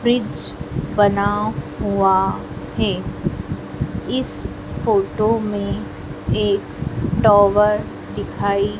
bridge बना हुआ है इस फोटो में एक टावर दिखाई--